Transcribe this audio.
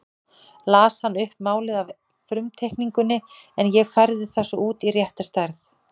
Las hann upp málið af frumteikningunni en ég færði það svo út í rétta stærð.